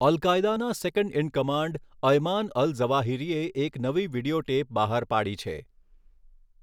અલ કાયદાના second in command Ayman al ઝવાહિરીએ એક નવી વીડિયો ટેપ બહાર પાડી છે.